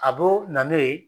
A b'o na n'o ye